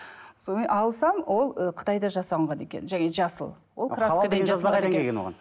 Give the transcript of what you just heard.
содан кейін алсам ол ы қытайда жасалынған екен жаңағы жасыл